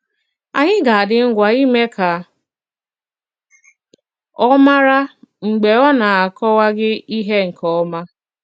Ànyị̀ ga-àdí ngwa ímé ka ọ màrà mg̀bè ọ na-akọwàghị ihé nke òma.